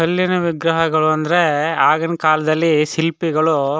ಕಲ್ಲಿನ ವಿಗ್ರಹಗಳು ಅಂದ್ರೆ ಆಗಿನ್ ಕಾಲದಲ್ಲಿ ಶಿಲ್ಪಿಗಳು.